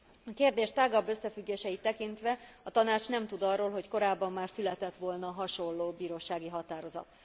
A kérdés tágabb összefüggéseit tekintve, a Tanács nem tud arról, hogy korábban már született volna hasonló bírósági határozat.